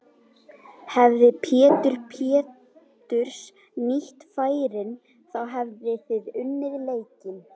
Hefði Pétur Péturs nýtt færin þá hefðuð þið unnið leikinn?